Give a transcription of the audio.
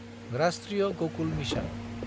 राष्ट्रीय गकुल मिसन